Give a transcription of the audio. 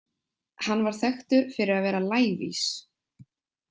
Hann var þekktur fyrir að vera lævís.